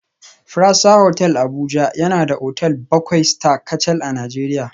Fraser Hotel Abuja yana da otal bakwai Star kacal a Najeriya